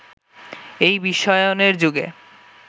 এই বিশ্বায়নের যুগে